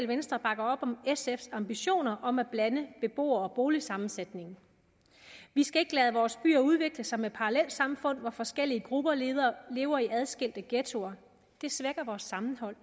venstre bakker op om sfs ambitioner om at blande beboere og boligsammensætning vi skal ikke lade vores byer udvikle sig med parallelsamfund hvor forskellige grupper lever lever i adskilte ghettoer det svækker vores sammenhold